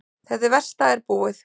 Þetta versta er búið.